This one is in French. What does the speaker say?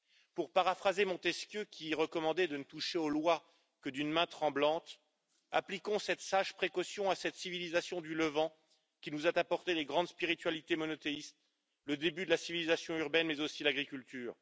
Pour paraphraser Montesquieu, qui recommandait de ne toucher aux lois que d'une main tremblante, appliquons cette sage précaution à cette civilisation du Levant, qui nous a apporté les grandes spiritualités monothéistes, le début de la civilisation urbaine mais aussi l'agriculture.